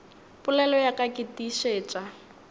polelo ya ka ke tiišetša